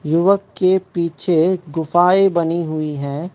युवक के पीछे गुफाएं बनी हुई हैं।